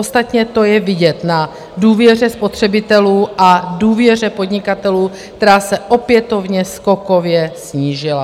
Ostatně to je vidět na důvěře spotřebitelů a důvěře podnikatelů, která se opětovně skokově snížila.